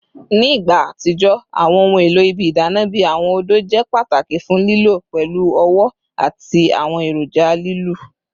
Ni igba atijọ, awọn ohun elo ibi idana bi awọn odo jẹ pataki fun lilọ pẹlu ọwọ ati awọn eroja lilu